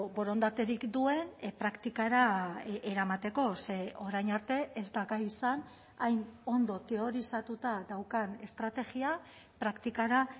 borondaterik duen praktikara eramateko ze orain arte ez da gai izan hain ondo teorizatuta daukan estrategia praktikara